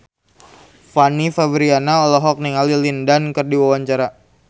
Fanny Fabriana olohok ningali Lin Dan keur diwawancara